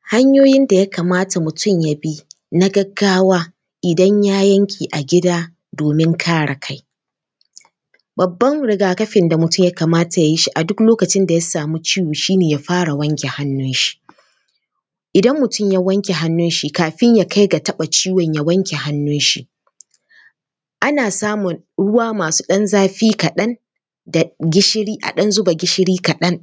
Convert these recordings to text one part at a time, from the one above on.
Hanyoyin da ya kamata mutum ya bi na gaggawa, idan ya yanke a gida domin kare kai. Babban riga-kafin da mutum ya kamata ya yi shi a duk lokacin da ya samu ciwo shi ne ya fara wanke hannunshi. Idan mutum ya wanke hannunshi, kafin ya kai ga taɓa ciwon, ya wanke hannunshi. Ana samun ruwa masu ɗan zafi kaɗan da ɗan gishiri, a ɗan zuba gishiri kaɗan,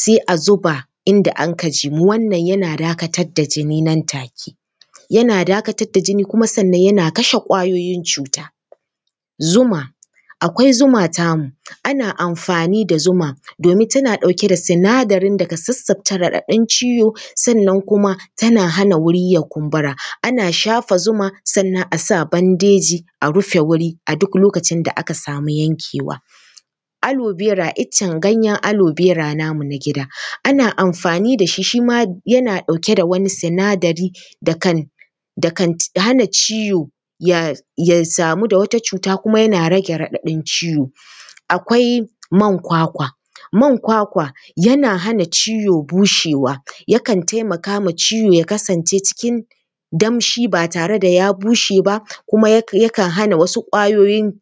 sai a zuba inda anka jimu, wannan yana dakatar da jini nan take. Yana dakatar da jini sannan kuma yana kashe ƙwayoyin cuta. Zuma, akwai zuma tamu, ana amfani da zuma domin tana da sinadarin da ke sassabta raɗaɗin ciwo sannan kuma tana hana wuri ya kumbura. Ana shafa zuma sannan a sa bandeji, a rufe wuri, a duk lokacin da aka samu yankewa. Aloe vera, ganyen iccen aloe vera namu namu na gida ana amfani da shi, shi ma yana ɗauke da wani sinadari da kan, da kan hana ciwo ya samu da wat acuta kuma yana rage raɗaɗin ciwo. Akwai man kwakwa, man kwakwa yana hana ciwo bushewa, yakan taimaka ma ciwo ya kasance cikin damshi ba tare da ya bushe ba, kuma yakan hana wasu ƙwayoyin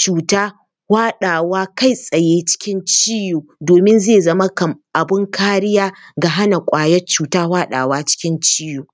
cuta hwaɗawa kai tsaye cikin ciwo domin zai zama abin kariya ga hana ƙwayar cuta hwaɗawa cikin ciwo.